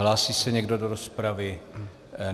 Hlásí se někdo do rozpravy?